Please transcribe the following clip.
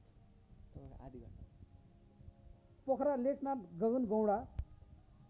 Pokhara Lekhnath Gagangaunda